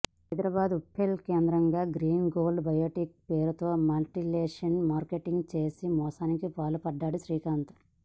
హైదరాబాద్ ఉప్పల్ కేంద్రంగా Green Gold Biotech పేరుతో multi level marketing చేసి మోసానికి పాల్పడ్డాడు శ్రీకాంత్